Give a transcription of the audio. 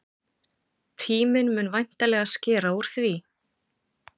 Tíminn mun væntanlega skera úr því.